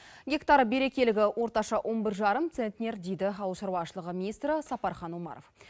гектар берекелігі орташа он бір жарым центнер дейді ауыл шаруашылығы министрі сапархан омаров